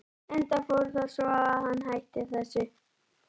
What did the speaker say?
Enda fór það svo að hann hætti þessu.